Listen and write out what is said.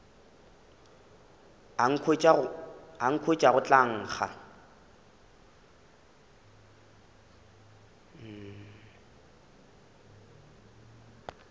a nkhwetša go tla nkga